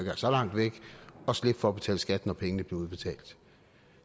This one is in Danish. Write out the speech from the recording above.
så langt væk og slippe for at betale skat når pengene blev udbetalt